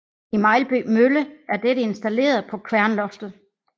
I Melby Mølle er dette installeret på kværnloftet